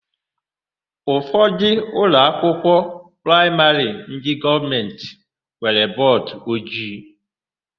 Ụfọdụ ụlọakwụkwọ praịmarị ndị gọọmentị nwere bọọdụojii.